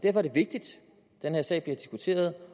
er det vigtigt at den her sag bliver diskuteret